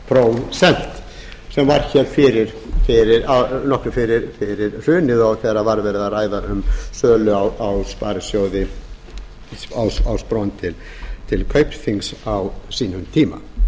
prósent sem var hér nokkru fyrir hrunið þegar var verið að ræða um sölu á spron til kaupþings á sínum tíma